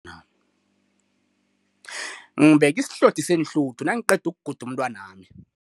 Ngibeke isihlothi seenhluthu nangiqeda ukuguda umntwanami.